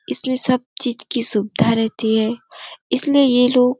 इसमें सब चीज की सुविधा रहती है इसलिए ये लोग --